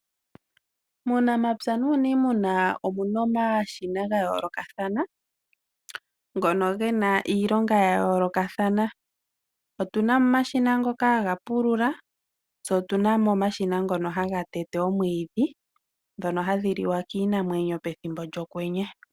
Muunamapya nuuniimuna omuna omashina gayoolokathana ngono ge na iilonga yayoolokathana. Otuna mo omashina ngoka haga pulula, tse otuna mo omashina ngoka haga tete omwiidhi ngono haga liwa kiinamwenyo pokwenye.